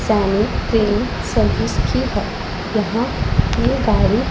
सामने एक सर्विस की है जहां ये गाड़ी --